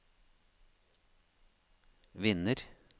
vinner